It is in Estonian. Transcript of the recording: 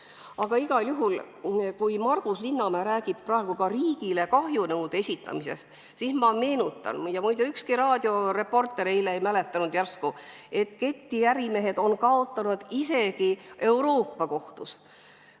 Aga igal juhul, kui Margus Linnamäe räägib praegu riigile kahjunõude esitamisest, siis ma meenutan – muide, ükski raadioreporter eile seda ei mäletanud –, et ketiärimehed on kaotanud isegi Euroopa Kohtus.